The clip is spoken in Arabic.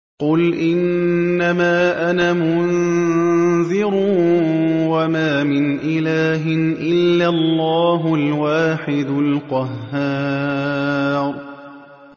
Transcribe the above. قُلْ إِنَّمَا أَنَا مُنذِرٌ ۖ وَمَا مِنْ إِلَٰهٍ إِلَّا اللَّهُ الْوَاحِدُ الْقَهَّارُ